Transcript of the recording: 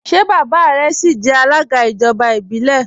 Ṣé baba rẹ síí jẹ alága ijọba ibilẹ?